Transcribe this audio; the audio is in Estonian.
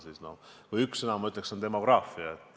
Kui saaksin öelda ühe sõna, siis see sõna on "demograafia".